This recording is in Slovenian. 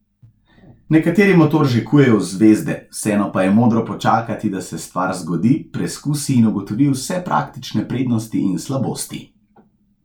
Nekateri motor že kujejo v zvezde, vseeno pa je modro počakati, da se stvar zgodi, preskusi in ugotovi vse praktične prednosti in slabosti.